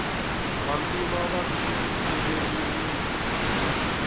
vantima va tshikileriwile